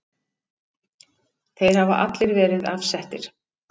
Þeir hafa allir verið afsettir.